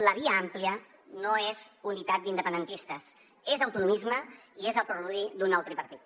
la via àmplia no és unitat d’independentistes és autonomisme i és el preludi d’un nou tripartit